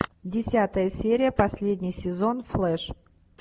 десятая серия последний сезон флэш